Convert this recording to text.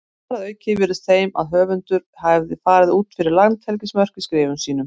Þar að auki virtist þeim að höfundur hefði farið út fyrir landhelgismörk í skrifum sínum.